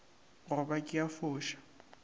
go ba ke a foša